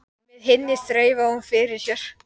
Með hinni þreifaði hún fyrir sér.